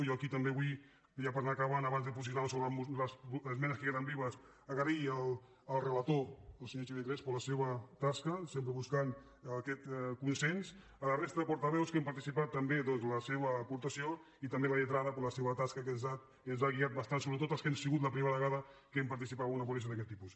jo aquí també vull ja per anar acabant abans de posicionar me sobre les esmenes que queden vives agrair al relator el senyor xavier crespo la seva tasca sempre buscant aquest consens a la resta de portaveus que hi han participat també doncs la seva aportació i també a la lletrada la seva tasca que ens ha guiat bastant sobretot per als que ha sigut la primera vegada que hem participat en una ponència d’aquest tipus